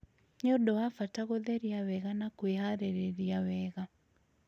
nĩ ũndũ wa bata gũtheria wega na kwĩhaarĩria wega